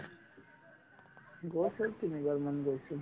গৈছো তিনিবাৰ মান গৈছো